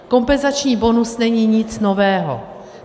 Kompenzační bonus není nic nového.